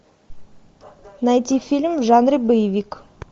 найти фильм в жанре боевик